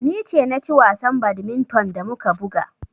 Ni ce na ci wasan badminton da muka buga.